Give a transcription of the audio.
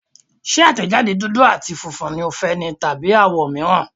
Ṣé àtẹ̀jáde dúdú àti funfun ni o fẹ́ ni tàbí àwọ̀ mìíràn.